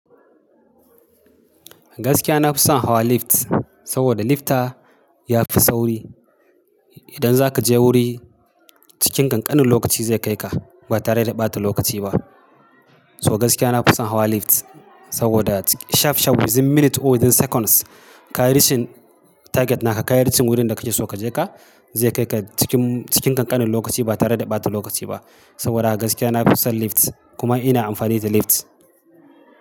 Gaskiya na fi son hawa lift, saboda lifta yafi sauri. Idan zaka je wuri cikin ƙanƙanin lokaci zai kai ka ba tare da ɓata lokaci ba. So gaskiya na fi son hawa lift saboda shaf shaf wizin minute or wizin seconds ka yi rishin target naka, ka yi ricin wurin da kake so kaje ka zai kai ka cikin, cikin ƙanƙanin lokaci ba tare da ɓata lokaci ba. Saboda haka gaskiya na fi son lift kuma ina amfani da lift.